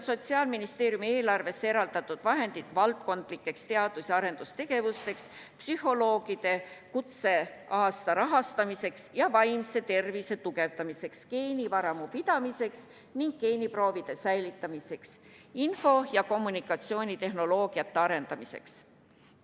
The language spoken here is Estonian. Sotsiaalministeeriumi eelarvesse on eraldatud vahendid valdkondlikeks teadus- ja arendustegevusteks, psühholoogide kutseaasta rahastamiseks ja vaimse tervise tugevdamiseks, geenivaramu pidamiseks ning geeniproovide säilitamiseks, info- ja kommunikatsioonitehnoloogiate arendamiseks.